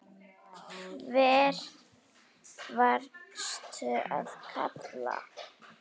hvern varstu að kalla?